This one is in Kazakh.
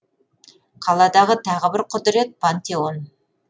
қаладағы тағы бір құдірет пантеон